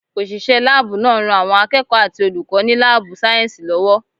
Òṣìṣẹ́ láàbù náà ń ran àwọn akẹ́kọ̀ọ́ àti olùkọ́ ní láàbù sáyẹ̀nsì lọ́wọ́